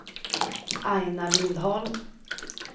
Aina Lindholm